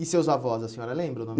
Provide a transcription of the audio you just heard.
E seus avós, a senhora lembra o nome?